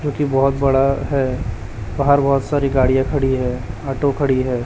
जोकि बहोत बड़ा है बाहर बहोत सारी गाड़ियां खड़ी है ऑटो खड़ी है।